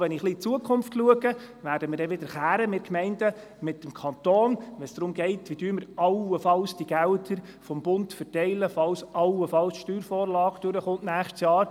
Wenn ich in die Zukunft schaue, gehe ich davon aus, dass wir Gemeinden wieder mit dem Kanton streiten werden, wenn es darum geht, wie allenfalls die Gelder des Bundes verteilt werden sollen, falls im kommenden Jahr eventuell die Steuervorlage angenommen wird.